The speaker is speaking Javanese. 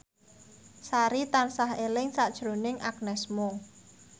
Sari tansah eling sakjroning Agnes Mo